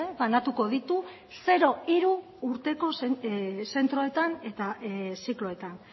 banatuko ditu zero hiru zentroetan eta zikloetan